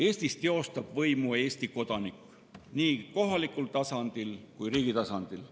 Eestis teostab võimu Eesti kodanik nii kohalikul tasandil kui ka riigi tasandil.